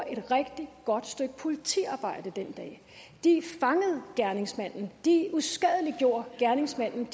et rigtig godt stykke politiarbejde den dag de fangede gerningsmanden de uskadeliggjorde gerningsmanden